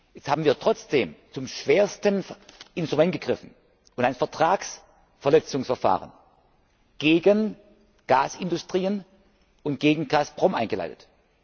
Jetzt haben wir trotzdem zum schwersten Instrument gegriffen und ein Vertragsverletzungsverfahren gegen Gasindustrien und gegen Gazprom eingeleitet.